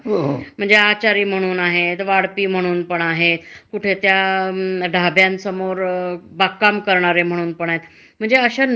आणि त्या सुरक्षित असतातच अस नाही. पण काय होतंय त्यासुद्धा एक वेगळ्या प्रकारच म्हणजे त्याला सुद्धा एक चालना मिळाली की.